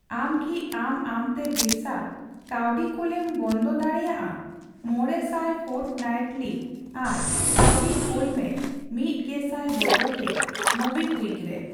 ᱟᱢ ᱠᱤ ᱟᱢ ᱟᱢᱛᱮ ᱵᱤᱨᱥᱟ ᱠᱟᱹᱣᱰᱤ ᱠᱳᱞᱮᱢ ᱵᱚᱱᱫᱚ ᱫᱟᱲᱮᱭᱟᱜᱼᱟ ᱢᱚᱬᱮ ᱥᱟᱭ ᱯᱷᱳᱨᱴᱱᱟᱭᱤᱴᱞᱤ ᱟᱨ ᱠᱟᱣᱰᱤ ᱠᱩᱞ ᱢᱮ ᱢᱤᱫ ᱜᱮᱥᱟᱭ ᱵᱚᱫᱚᱞ ᱛᱮ ᱢᱳᱵᱤᱠᱩᱭᱤᱠ ᱨᱮ ᱾